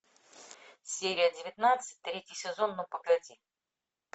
серия девятнадцать третий сезон ну погоди